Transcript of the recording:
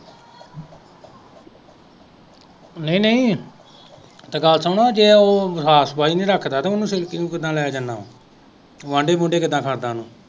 ਨਹੀਂ ਨਹੀਂ ਤੇ ਗੱਲ ਸੁਣ ਤੇ ਉਹ ਸਾਫ ਸਫਾਈ ਨੀ ਰੱਖਦਾ ਤੇ ਉਹ ਸਿਲਕੀ ਨੂੰ ਕਿਦਾਂ ਲੈ ਜਾਂਦਾ ਵੰਡੇ ਵੂਡੇ ਕੀੜਾ ਕਰਦਾ ਹੋਣਾ